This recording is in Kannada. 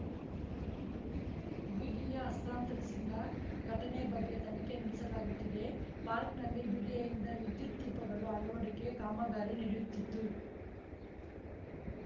ಬಿಡಿಎ ಹಸ್ತಾಂತರಿಸಿಲ್ಲ ಘಟನೆ ಬಗ್ಗೆ ತನಿಖೆ ನಡೆಸಲಾಗುತ್ತಿದೆ ಪಾರ್ಕ್ನಲ್ಲಿ ಬಿಡಿಎಯಿಂದ ವಿದ್ಯುತ್‌ ದೀಪಗಳು ಅಳವಡಿಕೆ ಕಾಮಗಾರಿ ನಡೆಯುತ್ತಿದ್ದು